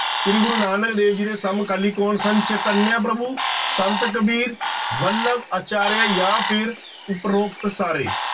ਸ੍ਰੀ ਗੁਰੂ ਨਾਨਕ ਦੇਵ ਜੀ ਦੇ ਸਮਕਾਲੀ ਕੌਣ ਸਨ? ਚੇਤੰਨਿਆ ਪ੍ਰਭੂ, ਸੰਤ ਕਬੀਰ, ਵੱਲਭ ਆਚਾਰਿਆ ਜਾਂ ਫਿਰ ਉਪਰੋਕਤ ਸਾਰੇ।